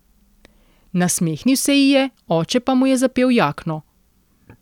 Nasmehnil se ji je, oče pa mu je zapel jakno.